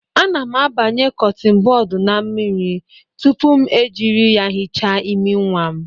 Ana m abanye kọtịn bọd na mmiri tupu m jiri ya hichaa imi nwa m